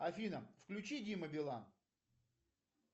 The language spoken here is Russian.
афина включи дима билан